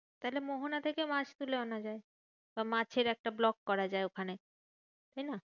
তাহলে মোহনা থেকে মাছ তুলে আনা যায় বা মাছের একটা vlog করা যায় ওখানে, তাইনা?